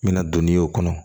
N bɛna don n'i y'o kɔnɔ